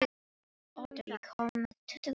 Otur, ég kom með tuttugu og fimm húfur!